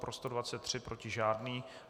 Pro 123, proti žádný.